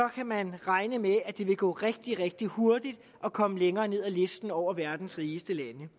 kan man regne med at det vil gå rigtig rigtig hurtigt at komme længere ned ad listen over verdens rigeste lande